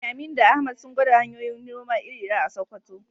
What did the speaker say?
Eh, Aminu da Ahmad sun gwada hanyoyin noma iri-iri a Sakkwato.